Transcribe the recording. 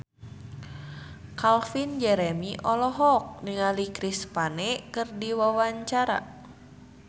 Calvin Jeremy olohok ningali Chris Pane keur diwawancara